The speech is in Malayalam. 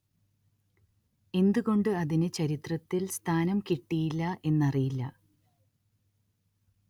എന്ത് കൊണ്ട് അതിന് ചരിത്രത്തില്‍ സ്ഥാനം കിട്ടിയില്ല എന്നറിയില്ല